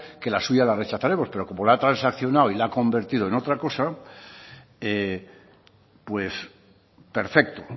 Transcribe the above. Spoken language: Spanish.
que la suya la rechazaremos pero como la ha transccionado y la ha convertido en otra cosa pues perfecto